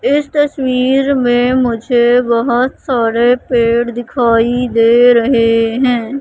इस तस्वीर में मुझे बहोत सारे पेड़ दिखाई दे रहे हैं।